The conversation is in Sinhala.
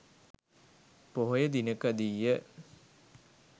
පොහොය දිනකදී ය.